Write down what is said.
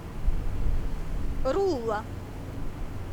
рулла